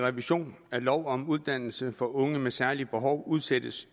revision af lov om uddannelse for unge med særlige behov udsættes